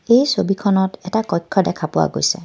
এই ছবিখনত এটা কক্ষ দেখা পোৱা গৈছে.